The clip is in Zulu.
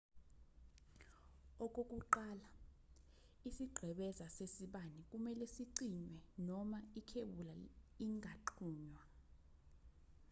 okokuqala isiqhebeza sesibani kumelwe sicinywe noma ikhebula ingaxhunywa